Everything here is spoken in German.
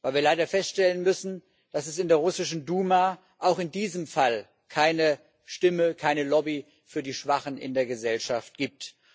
Weil wir leider feststellen müssen, dass es in der russischen Duma auch in diesem Fall keine Stimme, keine Lobby für die Schwachen in der Gesellschaft gibt.